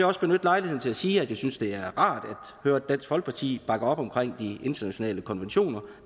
også benytte lejligheden til at sige at jeg synes at det er rart at høre dansk folkeparti bakke op omkring de internationale konventioner